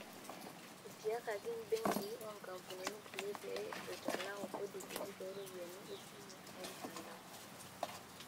Etiakaki mbenkii onkampunini kulie pee eitalaku kodi kiti tooropiyiani esimu oo mtandao.